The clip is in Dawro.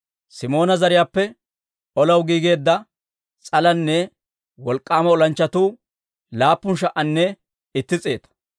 Simoona zariyaappe olaw giigeedda s'alanne wolk'k'aama olanchchatuu laappun sha"anne itti s'eeta.